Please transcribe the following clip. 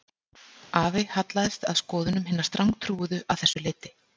Afi hallaðist að skoðunum hinna strangtrúuðu að þessu leyti